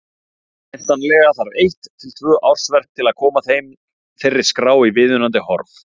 Væntanlega þarf eitt til tvö ársverk til að koma þeirri skrá í viðunandi horf.